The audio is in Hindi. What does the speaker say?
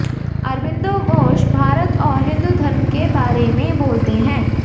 अरबिंदो घोष भारत और हिंदू धर्म के बारे में बोलते हैं